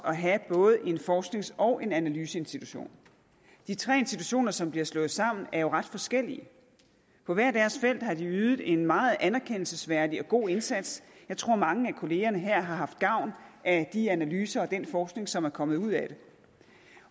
have både en forsknings og en analyseinstitution de tre institutioner som bliver slået sammen er jo ret forskellige på hver deres felt har de ydet en meget anerkendelsesværdig og god indsats jeg tror mange af kollegaerne her har haft gavn af de analyser og den forskning som er kommet ud af det